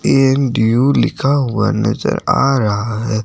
इन due लिखा हुआ नज़र आ रहा है।